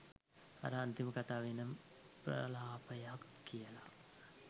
අර අන්තිම කතාවනම් ප්‍රලාපයක් කියලා